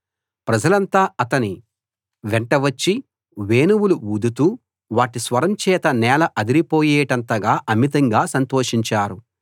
ప్రజలంతా అతని వెంట వచ్చి వేణువులు ఊదుతూ వాటి స్వరం చేత నేల అదిరిపోయేటంతగా అమితంగా సంతోషించారు